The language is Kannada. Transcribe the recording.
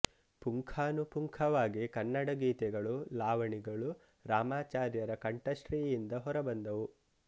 ಪುಂಖಾನು ಪುಂಖವಾಗಿ ಕನ್ನಡ ಗೀತೆಗಳು ಲಾವಣಿಗಳು ರಾಮಾಚಾರ್ಯರ ಕಂಠಶ್ರೀಯಿಂದ ಹೊರಬಂತು